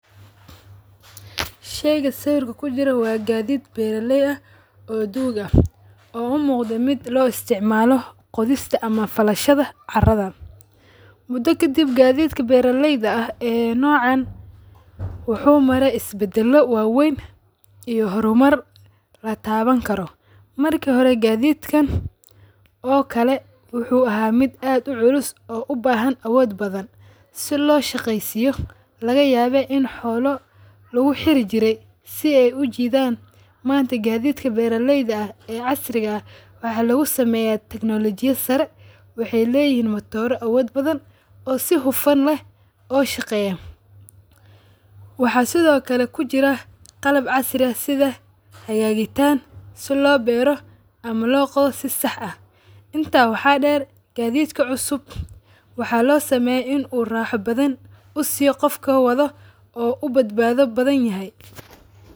Shayga sawirka kujiro waa gaadiid beeralay aah oo duug aah oo u muqdo mid loo isticmalo qodhista ama falashadha caradha. Mudo kadib gadhiita beeralayda aah ee nocaan wuxu mare isbadalo wa weyn iyo hormaar latawani karo. Marki hore gaadidkan oo kale wuxu aha mid aad u culus oo ubahan awood badhan si loo shaqeysiyo lagayabe in xoolo lagu xiri jire si ay ujidhan manta gaadhitka beera layda casriga ah waxa lagusameya technology ya saare. Waxay layhin matoro awood badaan oo si hufaan leeh oo shaqeya. Waxa sidho kale kujira qalaab casriya sidha xagagitaan sidha loo beero ama logadho si sax aah. Intaa waxa deer gaditka cusub waxa loo sameya u raxa badan usiyo qofka waadho oo ubadbadho badhanyahy.